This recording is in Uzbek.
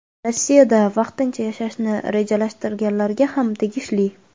Rossiyada vaqtincha yashashni rejalashtirganlarga ham tegishli.